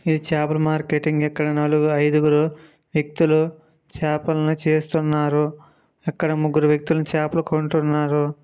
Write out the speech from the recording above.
చాపల మార్కెట్ ఇక్కడ నలుగు ఐదుగురు వ్యక్తులు చాపలను చేస్తున్నారు అక్కడ ముగ్గురు వ్యక్తులు చాపలనుకుంటున్నారు.